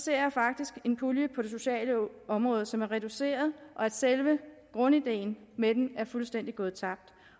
jeg faktisk en pulje på det sociale område som er reduceret og at selve grundideen med den er gået fuldstændig tabt